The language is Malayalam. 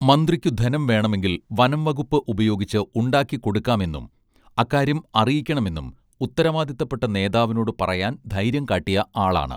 മന്ത്രിക്കു ധനം വേണമെങ്കിൽ വനംവകുപ്പ് ഉപയോഗിച്ച് ഉണ്ടാക്കിക്കൊടുക്കാമെന്നും അക്കാര്യം അറിയിക്കണമെന്നും ഉത്തരവാദിത്തപ്പെട്ട നേതാവിനോടു പറയാൻ ധൈര്യം കാട്ടിയ ആളാണ്